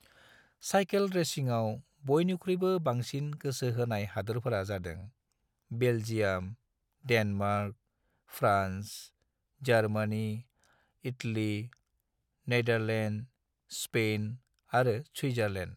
Cycle रेसिंआव बयनिख्रुइबो बांसिन गोसो होनाय हादोरफोरा जादों- Belgium, Denmark, France, Germany, Italy, Netherlands, Spain और स्विट्जरलैंड।